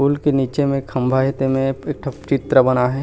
पूल के निचे में खम्भा हे ते में एक ठो चित्र बना हे।